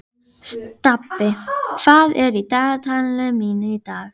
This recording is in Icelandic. Sá draumur var kannski fjarstæðastur allra.